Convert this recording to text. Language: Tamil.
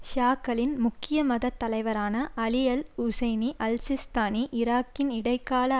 ஷியாக்களின் முக்கிய மதத் தலைவரான அலிஅல் உசைனி அல்ஸிஸ்தானி ஈராக்கின் இடைக்கால